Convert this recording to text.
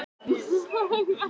Var endurlífgaður á vettvangi